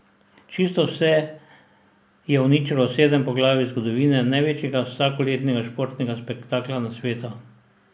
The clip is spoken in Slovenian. Čisto vse je uničilo sedem poglavij zgodovine največjega vsakoletnega športnega spektakla na svetu.